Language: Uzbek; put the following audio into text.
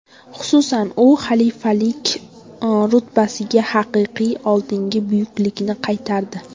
Xususan, u xalifalik rutbasiga haqiqiy oldingi buyuklikni qaytardi.